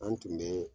An tun bɛ